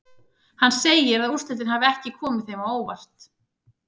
Hann segir að úrslitin hafi ekki komið sér á óvart.